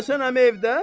Hacı Həsən əmi evdə?